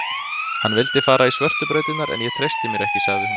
Hann vildi fara í svörtu brautirnar en ég treysti mér ekki, sagði hún.